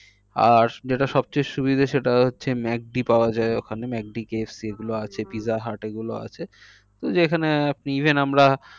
আর যেটা সব চেয়ে সুবিধা সেটা হচ্ছে ম্যাকডি পাওয়া যায় ওখানে ম্যাকডি কেএফসি এগুলো আছে পিৎজা হাট তো যেখানে আপনি even আমরা